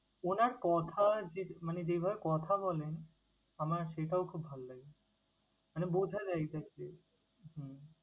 উনার কথা যে মানে যেভাবে কথা বলেন, আমার সেটাও খুব ভাল লাগে। মানে বোঝা যায় exactly হম